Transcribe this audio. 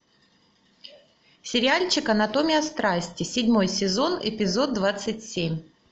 сериальчик анатомия страсти седьмой сезон эпизод двадцать семь